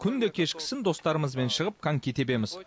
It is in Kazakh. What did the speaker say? күнде кешкісін достарымызбен шығып коньки тебеміз